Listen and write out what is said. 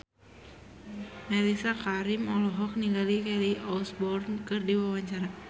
Mellisa Karim olohok ningali Kelly Osbourne keur diwawancara